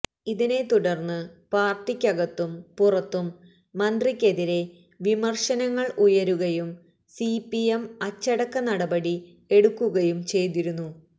ഇതിനെ തുടര്ന്ന് പാര്ട്ടിക്കകത്തും പുറത്തും മന്ത്രിക്കെതിരെ വിമര്ശനങ്ങള് ഉയരുകയും സിപിഎം അച്ചടക്ക നടപടി എടുക്കുകയും ചെയ്തിരുന്നു